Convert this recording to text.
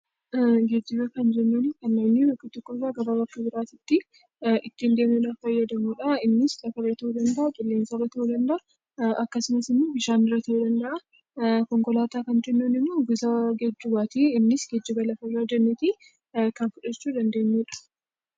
Geejjiba kan jennuun kanneen bakka tokko irraa gara bakka biraati tti ittiin deemuu dhaaf fayyadamnu dha. Innis Lafa irra ta'uu danda'aa, Qilleensa irra ta'uu danda'aa, akkasumas immoo Bishaan irra ta'uu danda'aa. Konkolaataa kan jennuun immoo gosa geejjibaa ta'ee innis geejjiba lafa irraa jennee ti kan fudhachuu dandeenyu dha.